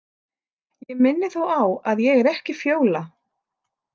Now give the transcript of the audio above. Ég minni þó á að ég er ekki Fjóla.